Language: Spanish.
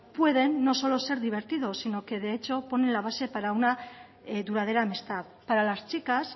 pueden no solo ser divertidos sino que de hecho pone la base para una duradera amistad para las chicas